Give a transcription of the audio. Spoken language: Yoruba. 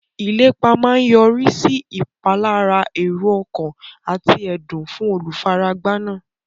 Ìlépa máa yọrí sí ìpalára èrò ọkàn àti ẹ̀dùn fún olùfaragbá náà.